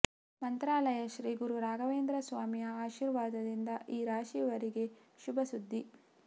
ಮಂತ್ರಾಲಯ ಶ್ರೀ ಗುರು ರಾಘವೇಂದ್ರ ಸ್ವಾಮಿಯ ಆಶಿರ್ವಾದದಿಂದ ಈ ರಾಶಿಯವರಿಗೆ ಶುಭ ಸುದ್ದಿ